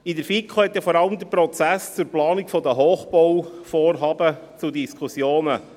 In der FiKo gab ja vor allem der Prozess zur Planung der Hochbauvorhaben Anlass zu Diskussionen.